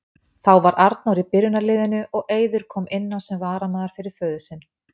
Þá var Arnór í byrjunarliðinu og Eiður kom inn á sem varamaður fyrir föður sinn.